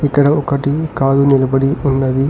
ఇక్కడ ఒకటి కాల్ నిలబడి ఉన్నది.